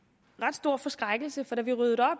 stor forskrækkelse for da vi ryddede